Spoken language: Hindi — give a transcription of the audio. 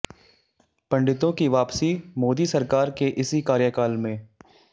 पंडितों की वापसी मोदी सरकार के इसी कार्यकाल में